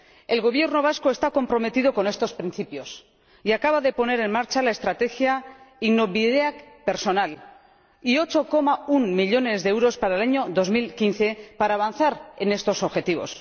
El Gobierno vasco está comprometido con estos principios y acaba de poner en marcha la estrategia Innobideak Pertsonak y de asignar 8,1 millones de euros en el año 2015 para avanzar en estos objetivos.